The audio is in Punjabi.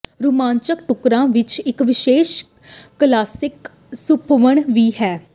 ਰੁਮਾਂਚਕ ਟੁਕਰਾਂ ਵਿਚ ਇਕ ਵਿਸ਼ੇਸ਼ ਕਲਾਸਿਕ ਸੁਹੱਪਣ ਵੀ ਹੈ